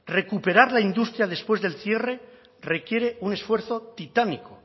recuperar la industria después del cierre requiere un esfuerzo titánico